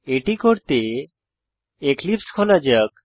এটি করতে এক্লিপসে খোলা যাক